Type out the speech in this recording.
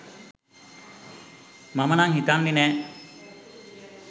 මම නම් හිතන්නෙ නෑ